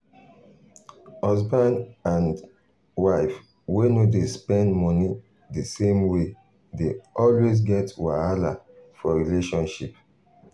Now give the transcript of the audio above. husband and um wife wey no dey spend money the same way um dey always get wahala for relationship.